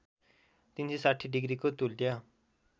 ३६० डिग्रीको तुल्य